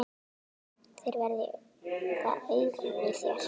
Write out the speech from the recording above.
Þeir verða augun í þér.